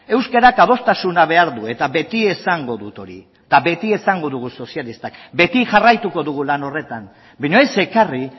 euskarak adostasuna behar du eta beti esango dut hori eta beti esango dugu sozialistak beti jarraituko dugu lan horretan baina ez ekarri